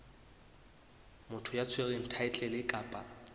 motho ya tshwereng thaetlele kapa